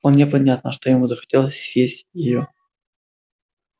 вполне понятно что ему захотелось съесть её